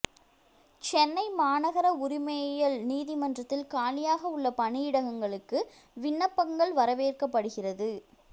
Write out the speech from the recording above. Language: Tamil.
சென்னை மாநகர உரிமையியல் நீதிமன்றத்தில் காலியாக உள்ள பணியிடங்களுக்கு விண்ணப்பங்கள் வரவேற்கப்படுகிறது